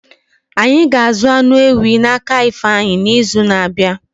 Ányi ga-azu anụ ewí na-aka ifeanyi n'izu na-abịa